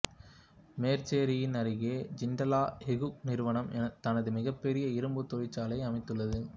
மேச்சேரியின் அருகே ஜிண்டால் எஃகு நிறுவனம் தனது மிகபெரிய இரும்பு தொழிற்சாலையை அமைத்துள்ளது